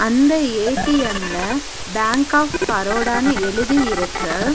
அந்த ஏ_டி_எம் ல bank of பரோடான்னு எழுதி இருக்கு.